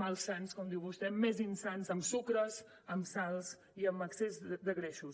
malsans com diu vostè més insans amb sucres amb sals i amb excés de greixos